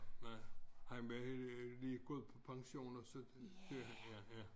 Nej han var lige gået på pension og så blev han ja ja